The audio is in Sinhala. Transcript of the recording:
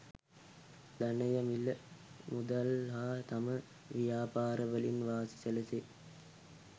ධනය මිල මුදල් හා තම ව්‍යාපාර වලින් වාසි සැලසේ.